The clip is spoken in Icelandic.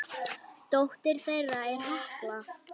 Dóttir þeirra er Hekla.